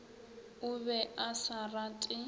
o be a sa rate